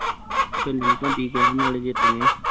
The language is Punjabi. ਫੇਰ ਲਿਮਕਾ ਪੀ ਕੇ ਆਗੈ ਨਾਲੇ ਜਿੱਤ ਗਏ